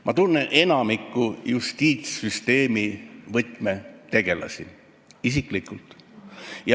Ma tunnen enamikku justiitssüsteemi võtmetegelasi isiklikult.